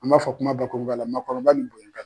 An b'a fɔ kumabakurubaya la maakɔrɔba ni bonya ka kan.